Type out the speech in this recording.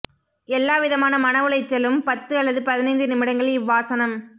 எல்லா விதமான மன உளைச்சலும் பத்து அல்லது பதினைந்து நிமிடங்கள் இவ்வாசனம்